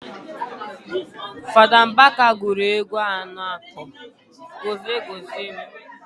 Fada Mbaka guru egwu ano akpo "Gozie Gozie m"